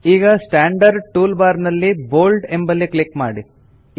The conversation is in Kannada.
ಈಗ ಸ್ಟಾಂಡರ್ಡ್ ಟೂಲ್ ಬಾರ್ ನಲ್ಲಿ ಬೋಲ್ಡ್ ಎಂಬಲ್ಲಿ ಕ್ಲಿಕ್ ಮಾಡಿ